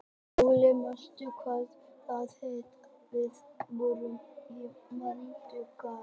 Glóey, manstu hvað verslunin hét sem við fórum í á mánudaginn?